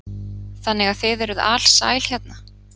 Þannig að þið eruð alsæl hérna?